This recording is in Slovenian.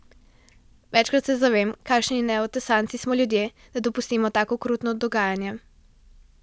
Večkrat se zavem, kakšni neotesanci smo ljudje, da dopustimo tako okrutno dogajanje.